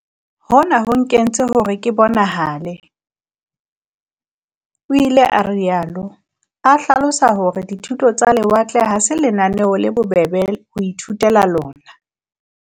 "Hona ho nkentse hore ke bonahale," o ile a rialo, a hlalosa hore di thuto tsa lewatle ha se lenaneo le bobebe ho ithutela lona.